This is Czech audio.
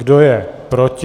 Kdo je proti?